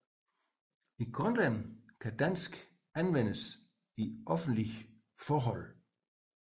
I Grønland kan dansk anvendes i offentlige forhold